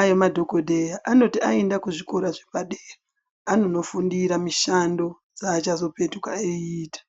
aya madhokodheya anoti aenda pazvikora zvepadera anondofundira mishando yachazopetuka eita.